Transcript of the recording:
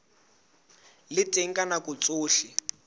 le teng ka nako tsohle